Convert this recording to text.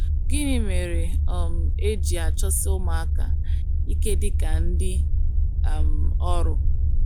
gịnị mere um e ji achọsi ụmụaka ike dị ka ndị um ọrụ?